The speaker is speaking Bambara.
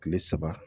Kile saba